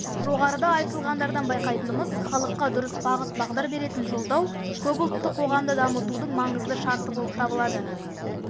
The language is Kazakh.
жоғарыда айтылғандардан байқайтынымыз халыққа дұрыс бағыт-бағдар беретін жолдау көпұлтты қоғамды дамытудың маңызды шарты болып табылады